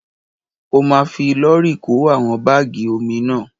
Ó ma fi lọ́rì kó àwọn bágì omi náà.